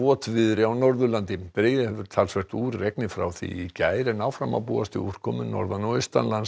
votviðri á Norðurlandi dregið hefur talsvert úr regni frá í gær en áfram má búast við úrkomu norðan og